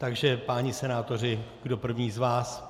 Takže, páni senátoři, kdo první z vás?